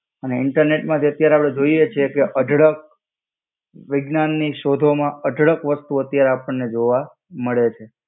અને ઈન્ટરનેટ માંથી અત્યારે આપણે જોઈએ છે કે અઢળક વિજ્ઞાનની શોધો માં અઢળક વસ્તુઓ ત્યારે આપણને જોવા મળે છે.